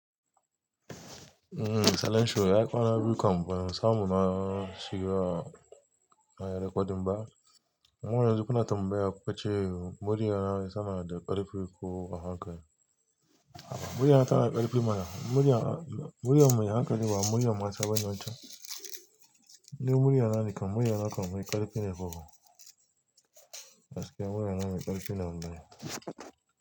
Mhm Salishoo ya kwana biyu kamfanin samu na shigo a rikodin ba. Har yanzu kuna tambaya ku kace murya nani sama da karfi uku wa haka. Murya nawa karfi mana? Murya, mu haka ne ba murya mata ban nisha. Ne murya nane kam murya nawa karfi ne kuka. Gaskiya murya na mai karfi ne wallai.